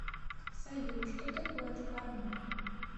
салют что такое дхарма